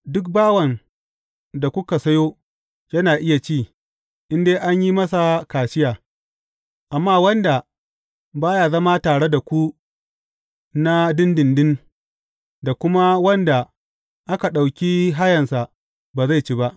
Duk bawan da kuka sayo, yana iya ci, in dai an yi masa kaciya, amma wanda ba ya zama tare da ku na ɗinɗinɗin, da kuma wanda aka ɗauki hayansa, ba zai ci ba.